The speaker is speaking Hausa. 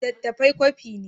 Littattafai kwafi ne.